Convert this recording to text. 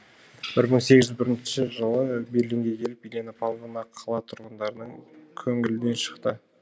бір мың сегіз жүз бірінші жылы берлинге келіп елена павловна қала тұрғындарының көңілінен шықты